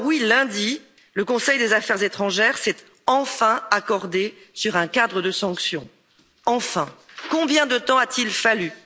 Lundi, le Conseil des affaires étrangères s'est enfin accordé sur un cadre de sanctions. Enfin! Combien de temps a t il fallu?